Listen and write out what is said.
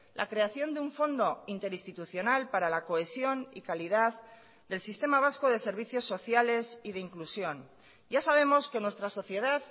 la creación de un fondo interinstitucional para la cohesión y calidad del sistema vasco de servicios sociales y de inclusión ya sabemos que nuestra sociedad